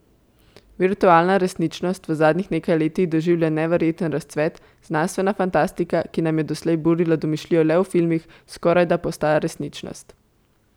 Virtualna resničnost v zadnjih nekaj letih doživlja neverjeten razcvet, znanstvena fantastika, ki nam je doslej burila domišljijo le v filmih, skorajda postaja resničnost.